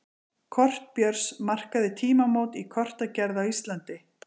kort björns markaði tímamót í kortagerð á íslandi